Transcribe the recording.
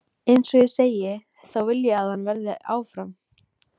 En eins og ég segi, þá vil ég að hann verði áfram.